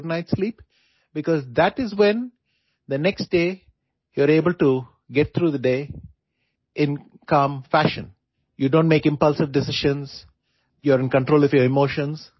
গতিকে আমি ৰাতি ভালদৰে টোপনি যাবলৈ যৎপৰোনাস্তি চেষ্টা কৰা উচিত কাৰণ তেতিয়া আপুনি পিছদিনাটো শান্ত মনেৰে কটাব পাৰিব আৱেগিক সিদ্ধান্ত লব নোৱাৰিব আৰু নিজৰ আৱেগ নিয়ন্ত্ৰণ কৰিব পাৰিব